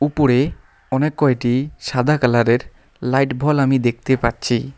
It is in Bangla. উপরে অনেক কয়টি সাদা কালারের লাইট ভল আমি দেখতে পারছি।